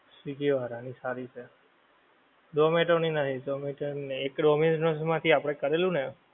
swiggy વાળાની સારી છે. Zomato ની નહીં એક Dominos માથી આપણે કરેલું ને